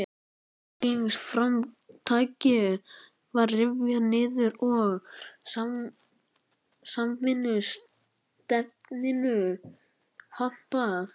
Einstaklingsframtakið var rifið niður og samvinnustefnunni hampað.